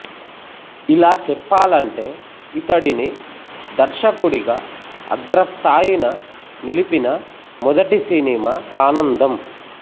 ఇలా చెప్పాలంటే ఇతడిని దర్శకుడిగా అగ్రస్తాయిన నిలిపిన మొదటి సినిమా ఆనందం